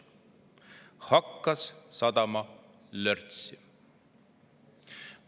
Hakkas sadama lörtsi.